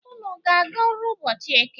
Unu ga-aga ọrụ ụbọchi Eke?